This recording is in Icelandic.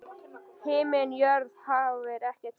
Himinn jörð haf er ekkert fjórða?